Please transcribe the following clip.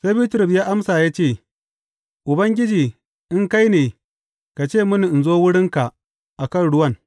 Sai Bitrus ya amsa ya ce, Ubangiji in kai ne ka ce mini in zo wurinka a kan ruwan.